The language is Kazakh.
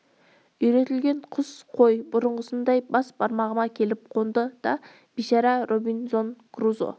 үйретілген құс қой бұрынғысындай бас бармағыма келіп қонды да бейшара робинзон крузо